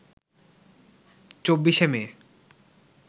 ২৪শে মে